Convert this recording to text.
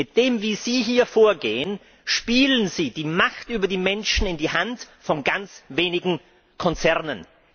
So, wie Sie hier vorgehen, spielen Sie die Macht über die Menschen in die Hand von ganz wenigen Konzernen.